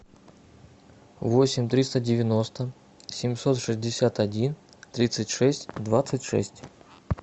восемь триста девяносто семьсот шестьдесят один тридцать шесть двадцать шесть